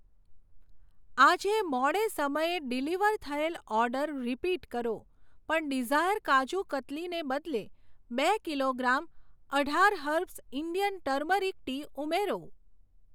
આજે મોડે સમયે ડિલિવર થયેલ ઓર્ડર રીપીટ કરો, પણ ડિઝાયર કાજુ કતલીને બદલે બે કિલોગ્રામ અઢાર હર્બ્સ ઇન્ડિયન ટરમરીક ટી ઉમેરો.